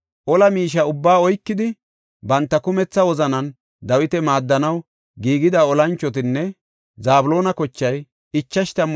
Ola miishe ubbaa oykidi banta kumetha wozanan Dawita maaddanaw giigida olanchotan Zabloona kochay 50,000.